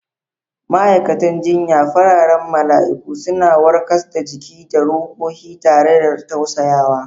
Ma'aikatan jinya, fararen mala'iku, suna warkas da jiki da ruhohi tare da tausayawa.